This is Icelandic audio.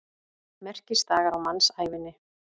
Merkisdagar á mannsævinni.